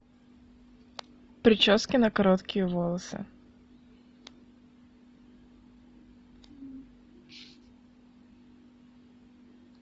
прически на короткие волосы